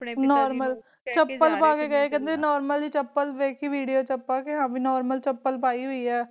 normal, ਬਿਲਕੁਲ normal video ਵਿਚ ਦਿੱਖਾ ਖੜੇ ਕਿ ਬਿਲਕੁਲ ਨੌਰਮਲ ਜੀ ਚਪਲ ਪੈ ਹੈ